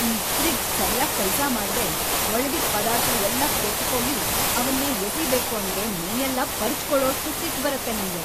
ಈ ಫ್ರಿಡ್ಜ್‌ ಸರ್ಯಾಗ್‌ ಕೆಲ್ಸ ಮಾಡ್ದೇ ಒಳಗಿಟ್ಟ್‌ ಪದಾರ್ಥ ಎಲ್ಲ ಕೆಟ್ಟ್‌ಹೋಗಿ ಅವನ್ನ ಎಸೀಬೇಕು ಅಂದ್ರೆ ಮೈಯೆಲ್ಲ ಪರ್ಚ್‌ಕೊಳೋಷ್ಟ್‌ ಸಿಟ್ಟ್‌ ಬರತ್ತೆ ನಂಗೆ.